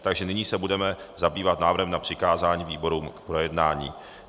Takže nyní se budeme zabývat návrhem na přikázání výborům k projednání.